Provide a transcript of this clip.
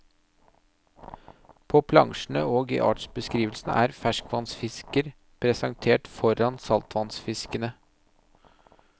På plansjene og i artsbeskrivelsene er ferskvannsfisker presentert foran saltvannfiskene.